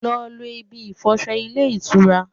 Lọ lo ibi ìfọsọ ilé ìtura!